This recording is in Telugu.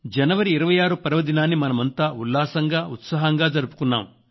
జనవరి 26 పర్వదినాన్ని మనమంతా ఉల్లాసంగా ఉత్సాహంగా జరుపుకున్నాం